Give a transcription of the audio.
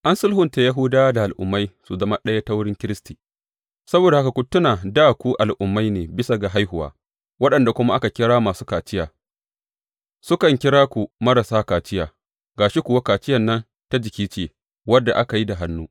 An sulhunta Yahudawa da al’ummai su zama ɗaya ta wurin Kiristi Saboda haka, ku tuna dā ku Al’ummai ne bisa ga haihuwa, waɗanda kuma ake kira masu kaciya sukan kira ku marasa kaciya ga shi kuwa, kaciyar nan ta jiki ce, wadda ake yi da hannu.